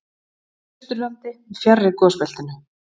Austurlandi, fjarri gosbeltinu.